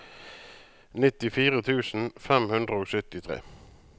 nittifire tusen fem hundre og syttitre